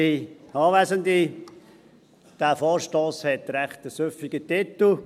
Dieser Vorstoss hat einen recht süffigen Titel.